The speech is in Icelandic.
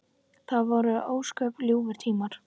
Það voru ósköp ljúfir tímar.